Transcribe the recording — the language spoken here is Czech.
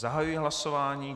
Zahajuji hlasování.